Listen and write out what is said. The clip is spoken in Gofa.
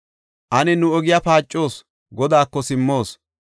Ane nu ogiya paacoos; Godaako simmoos.